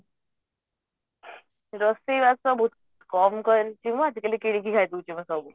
ରୋଷେଇ ବାସ ରେ କମ କରିଛି ମୁଁ ଆଜିକାଲି କିଣିକି ଖାଇଦଉଛି ମୁଁ ସବୁ